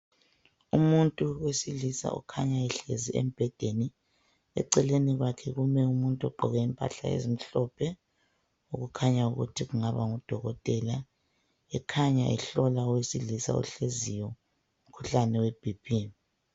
umuntu wesilisa ohlezi embhedeni eceleni kwakhe kume umuntu ogqoke impahla ezimhlophe okukhanya ukuthi engaba ngudokotela ekhanya ehlola owesilisa ohleziyo umkhuhlane webhiphi